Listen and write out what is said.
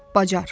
Bacar.